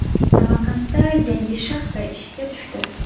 Samarqandda yangi shaxta ishga tushdi.